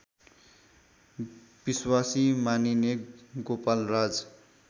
विश्वासी मानिने गोपालराज